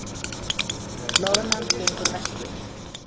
Loðnan gengur vestur